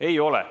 Ei ole.